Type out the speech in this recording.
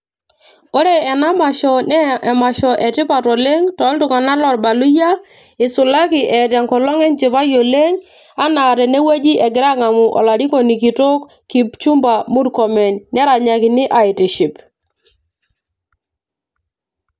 Ore ena masho naa emasho etipat oleng tooltung'anak loorbaluyia isulaki eeta enkolong enchipai oleng anaa tenewueji egira aang'amu olarikoni kitok Kipchumba murkomen neranyakini aitiship.